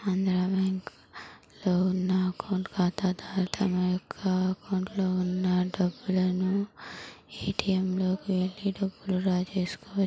Andhra bank లో ఉన్న account ఖాతాదారులు తమ యొక్క అకౌంట్ లో ఉన్న డబ్బులను ఏ_టీ_ఎం లోకి వేలేటపుడు తీసుకోవచ్చు.